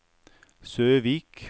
Søvik